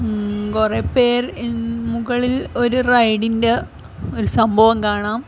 മ് കുറെ പേര് ഇമ് മുകളിൽ ഒരു റൈഡ് ഇന്റെ ഒരു സംഭവം കാണാം.